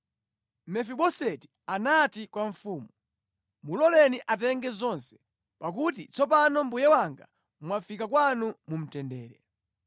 Mefiboseti anati kwa mfumu, “Muloleni atenge zonse, pakuti tsopano mbuye wanga mwafika kwanu mu mtendere.”